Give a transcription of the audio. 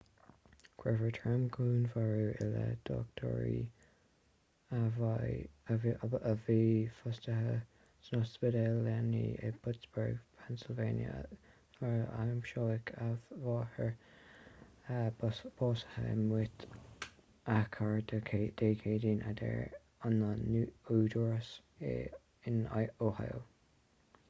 cuirfear trom-dhúnmharú i leith dochtúra a bhí fostaithe san ospidéal leanaí i bpittsburgh pennsylvania nuair a aimsíodh a máthair básaithe i mbúit a cairr dé céadaoin a deir na údaráis in ohio